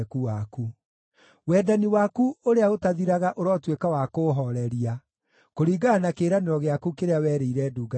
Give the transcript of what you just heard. Wendani waku ũrĩa ũtathiraga ũrotuĩka wa kũũhooreria, kũringana na kĩĩranĩro gĩaku kĩrĩa werĩire ndungata yaku.